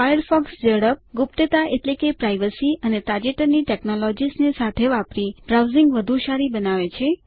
Firefox ઝડપ ગુપ્તતા અને તાજેતરની ટેકનોલોજીસ ને સાથે વાપરી બ્રાઉઝીંગ વધુ સારી બનાવે છે